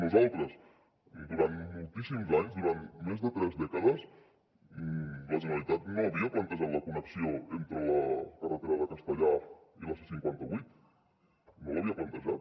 nosaltres durant moltíssims anys durant més de tres dècades la generalitat no havia plantejat la connexió entre la carretera de castellar i la c cinquanta vuit no l’havia plantejat